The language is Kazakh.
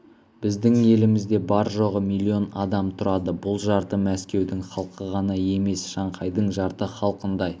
біздің елімізде бар жоғы миллион адам тұрады бұл жарты мәскеудің халқы ғана немесе шанхайдың жарты халқындай